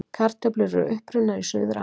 Kartöflur eru upprunnar í Suður-Ameríku.